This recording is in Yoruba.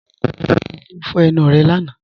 Ǹjẹ́ o fọ́ ẹnu rẹ́ lána?